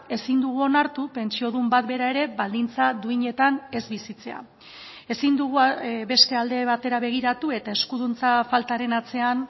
ezin dugu onartu pentsiodun bat bera ere baldintza duinetan ez bizitzea ezin dugu beste alde batera begiratu eta eskuduntza faltaren atzean